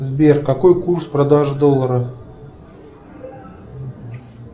сбер какой курс продажи доллара